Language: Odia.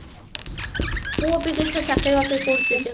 ପୁଅ ବିଦେଶରେ ଚାକିରି ବାକିରି କରୁଛି କି କଣ